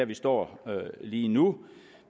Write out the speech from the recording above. vi står lige nu